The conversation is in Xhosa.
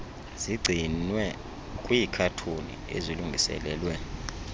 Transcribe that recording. zigcinwe kwiikhathoni ezilungiselelwe